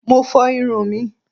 Mo fọ irun mi